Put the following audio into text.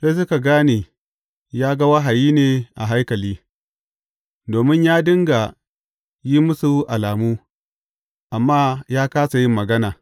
Sai suka gane, ya ga wahayi ne a haikali, domin ya dinga yin musu alamu, amma ya kāsa yin magana.